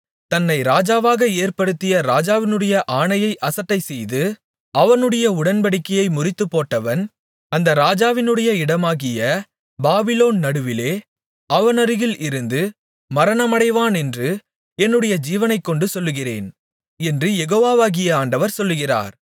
தன்னை ராஜாவாக ஏற்படுத்திய ராஜாவினுடைய ஆணையை அசட்டைசெய்து அவனுடைய உடன்படிக்கையை முறித்துப்போட்டவன் அந்த ராஜாவினுடைய இடமாகிய பாபிலோன் நடுவிலே அவனருகில் இருந்து மரணமடைவானென்று என்னுடைய ஜீவனைக்கொண்டு சொல்கிறேன் என்று யெகோவாகிய ஆண்டவர் சொல்லுகிறார்